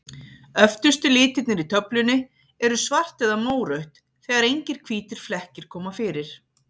Öftustu litirnir í töflunni eru svart eða mórautt, þegar engir hvítir flekkir koma fyrir.